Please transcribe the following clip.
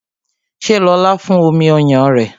Ṣé lóla fún omi ọyàn rẹ?